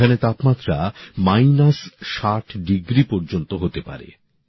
এখানে তাপমাত্রা হিমাংকের নীচে ৬০ডিগ্রি পর্যন্ত হতে পারে